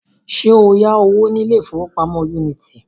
Ṣé o yá owó ní ilé ìfowópamọ́ Unity?